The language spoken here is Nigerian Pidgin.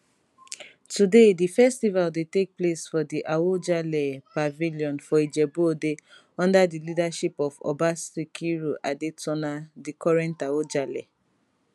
today di festival dey take place for di awujale pavilion for ijebu ode under di leadership of oba sikiru adetona di current awujale